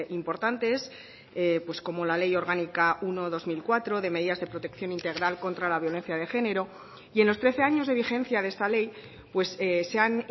importantes como la ley orgánica uno barra dos mil cuatro de medidas de protección integral contra la violencia de género y en los trece años de vigencia de esta ley se han